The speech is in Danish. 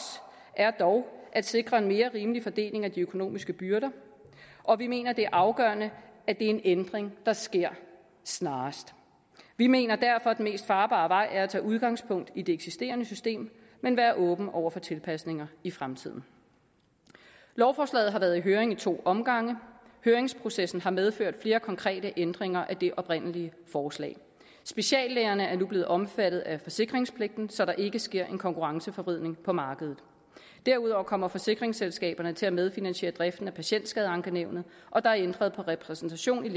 er dog at sikre en mere rimelig fordeling af de økonomiske byrder og vi mener at det er afgørende at det er en ændring der sker snarest vi mener derfor at den mest farbare vej er at tage udgangspunkt i det eksisterende system men være åben over for tilpasninger i fremtiden lovforslaget har været i høring i to omgange høringsprocessen har medført flere konkrete ændringer af det oprindelige forslag speciallægerne er nu blevet omfattet af forsikringspligten så der ikke sker en konkurrenceforvridning på markedet derudover kommer forsikringsselskaberne til at medfinansiere driften af patientskadeankenævnet og der er ændret på repræsentationen i